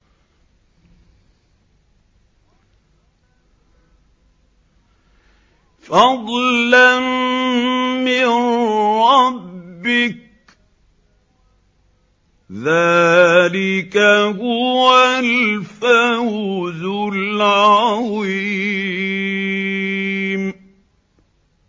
فَضْلًا مِّن رَّبِّكَ ۚ ذَٰلِكَ هُوَ الْفَوْزُ الْعَظِيمُ